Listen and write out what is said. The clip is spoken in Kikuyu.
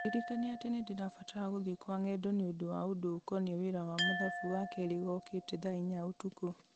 ndirikania atĩ nĩ ndĩrabatarania gũthiĩ kwa ng'endo nĩũndũ wa ũndũ ũkoniĩ wĩra wa mathabu wakerĩ gookĩte thaa inya ũtukũ